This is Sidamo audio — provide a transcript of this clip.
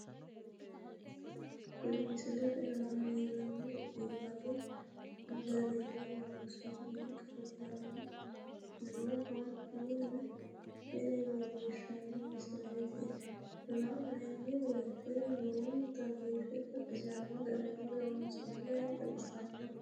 Kuni misilete aana leellannohu biifadu garinni loonsoonni qarqarira nooha mine leellishshanno misileeti la'nanni woyte lowonta biife baxisanno garinni loonsoonniha xawissanno